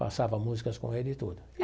Passava músicas com ele e tudo.